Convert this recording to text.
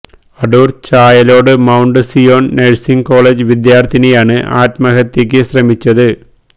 Adoor Chayalode Mount Zion nursing college വിദ്യാര്ഥിനിയാണ് ആത്മഹത്യയ്ക്ക് ശ്രമിച്ചത്